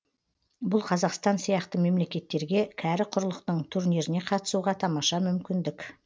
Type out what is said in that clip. бұл қазақстан сияқты мемлекеттерге кәрі құрлықтың турниріне қатысуға тамаша мүмкіндік